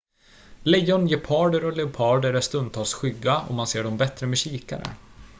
lejon geparder och leoparder är stundtals skygga och man ser dem bättre med kikare